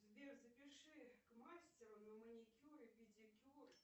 сбер запиши к мастеру на маникюр и педикюр